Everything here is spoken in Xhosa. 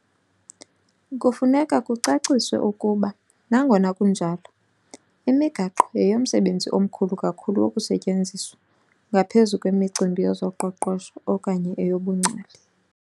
Kufuneka kucaciswe ukuba, nangona kunjalo, imigaqo yeyomsebenzi omkhulu kakhulu wokusetyenziswa, ngaphezu kwemicimbi yezoqoqosho okanye yobungcali.